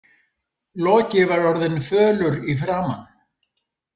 Loki var orðinn fölur í framan.